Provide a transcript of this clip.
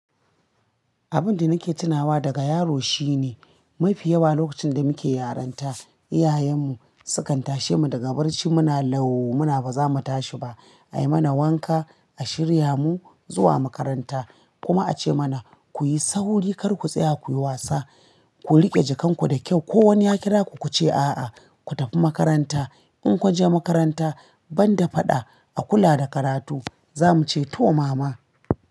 Abin da nake tunawa daga yaro shine, mafi yawa lokacin da muke yaranta, iyayenmu sukan tashe mu daga barci muna lau muna ba za mu tashi ba. A yi mana wanka, a shirya mu zuwa makaranta. Kuma a ce mana kuyi sauri kar ku tsaya kuyi wasa. Ku riƙe jakan ku da kyau. Ko wani ya kira ku kuce a'a, ku tafi makaranta. In kun je makaranta, ban da faɗa a kula da karatu. Za muce to mama.